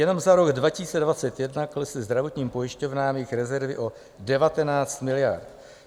Jenom za rok 2021 klesly zdravotním pojišťovnám jejich rezervy o 19 miliard.